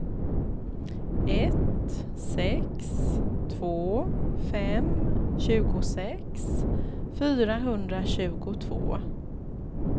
ett sex två fem tjugosex fyrahundratjugotvå